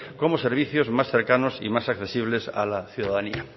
como servicios más cercanos y más accesibles a la ciudadanía